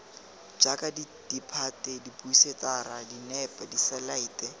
jaaka ditphate diphousetara dinepe diselaete